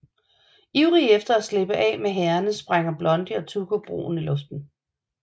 Ivrige efter at slippe af med hærene sprænger Blondie og Tuco broen i luften